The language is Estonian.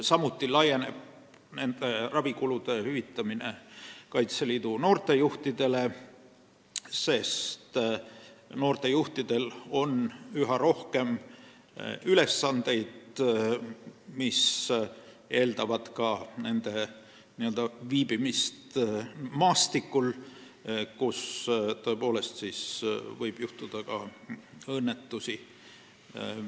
Samuti laieneb nende ravikulude hüvitamine Kaitseliidu noortejuhtidele, sest noortejuhtidel on üha rohkem ülesandeid, mis eeldavad ka nende viibimist maastikul, kus tõepoolest võib juhtuda õnnetusi.